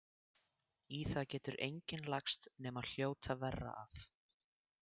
Í það getur enginn lagst nema hljóta verra af.